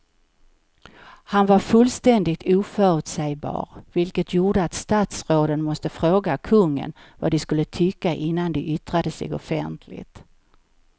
Han var fullständigt oförutsägbar vilket gjorde att statsråden måste fråga kungen vad de skulle tycka innan de yttrade sig offentligt.